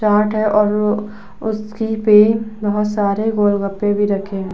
चाट है और उसी ही पे बोहोत सारे गोलगप्पे भी रखे हुए हैं।